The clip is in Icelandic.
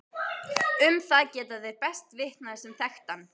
Um það geta þeir best vitnað sem þekktu hann.